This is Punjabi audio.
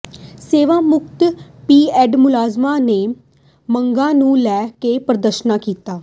ਸੇਵਾ ਮੁਕਤ ਪੀਐੱਫ ਮੁਲਾਜ਼ਮਾਂ ਨੇ ਮੰਗਾਂ ਨੂੰ ਲੈ ਕੇ ਪ੍ਰਦਰਸ਼ਨ ਕੀਤਾ